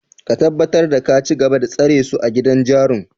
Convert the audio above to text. Ka tabbatar da ka cigaba da tsare su a gidan jarun!